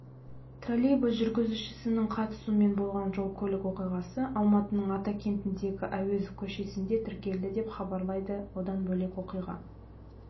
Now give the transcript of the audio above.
троллейбус жүргізушісінің қатысуымен болған жол-көлік оқиғасы алматының атакентіндегі әуезов көшесінде тіркелді деп хабарлайды одан бөлек оқиға